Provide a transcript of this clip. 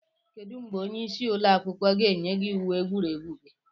Kedu mgbe onye isi ụlọ akwụkwọ ga-enye gị uwe egwuregwu gị?